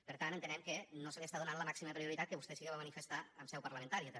per tant entenem que no se li està donant la màxima prioritat que vostè sí que va manifestar en seu parlamentària també